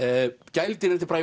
gæludýrin eftir Braga